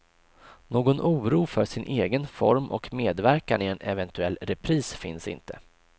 Någon oro för sin egen form och medverkan i en eventuell repris finns inte.